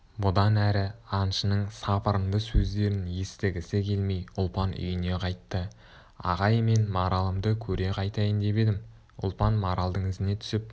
бұдан әрі аңшының сапырынды сөздерін естігісі келмей ұлпан үйіне қайтты ағай мен маралымды көре қайтайын деп едім ұлпан маралдың ізіне түсіп